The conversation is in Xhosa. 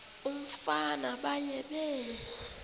umfana baye bee